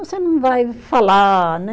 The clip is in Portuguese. Você não vai falar, né?